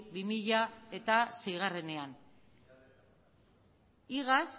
bi mila seiean igaz